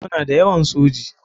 Muna da yawan soji.